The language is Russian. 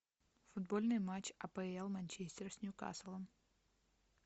футбольный матч апл манчестер с ньюкаслом